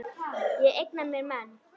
Ég eigna mér menn.